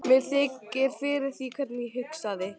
Mér þykir fyrir því hvernig ég hugsaði.